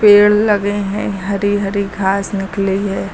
पेड़ लगे हैं हरी हरी घास निकली है।